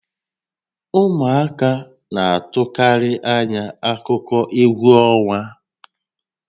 Ụmụaka na-atụkarị ányá akụkọ égwú ọnwa